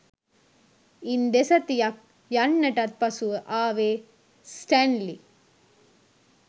ඉන් දෙසතියක් යන්නටත් පසුව ආවේ ස්ටැන්ලි